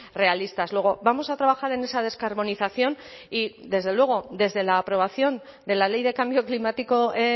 realistas luego vamos a trabajar en esa descarbonización y desde luego desde la aprobación de la ley de cambio climático